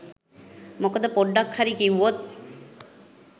මොකද පොඩ්ඩක් හරි කිව්වොත්